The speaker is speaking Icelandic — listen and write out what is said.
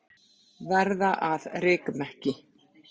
Verða að rykmekki.